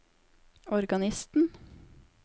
organisten